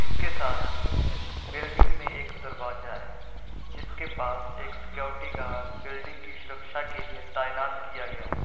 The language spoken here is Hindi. इसके साथ ही बिल्डिंग में एक दरवाजा है जिसके पास एक सिक्यूरिटी गार्ड बिल्डिंग की सुरक्षा के लिए तैनात किया गया है।